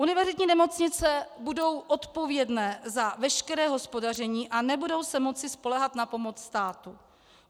Univerzitní nemocnice budou odpovědné za veškeré hospodaření a nebudou se moci spoléhat na pomoc státu.